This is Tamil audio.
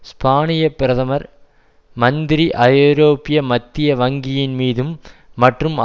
ஸ்பானிய பிரதமர் மந்திரி ஐரோப்பிய மத்திய வங்கியின் மீதும் மற்றும்